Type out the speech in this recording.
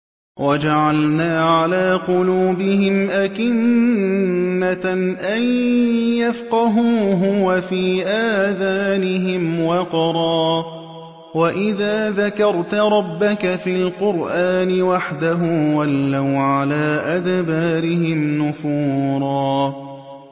وَجَعَلْنَا عَلَىٰ قُلُوبِهِمْ أَكِنَّةً أَن يَفْقَهُوهُ وَفِي آذَانِهِمْ وَقْرًا ۚ وَإِذَا ذَكَرْتَ رَبَّكَ فِي الْقُرْآنِ وَحْدَهُ وَلَّوْا عَلَىٰ أَدْبَارِهِمْ نُفُورًا